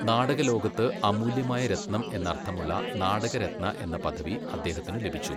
നാടക ലോകത്ത് അമൂല്യമായ രത്നം എന്നർഥമുള്ള നാടക രത്ന എന്ന പദവി അദ്ദേഹത്തിന് ലഭിച്ചു.